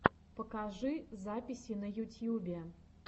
покажи записи на ютьюбе